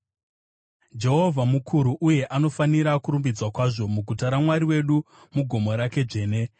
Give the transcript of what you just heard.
Jehovha mukuru, uye anofanira kurumbidzwa kwazvo, muguta raMwari wedu, mugomo rake dzvene.